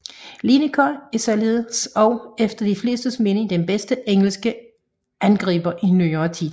Lineker er således også efter de flestes mening den bedste engelske angriber i nyere tid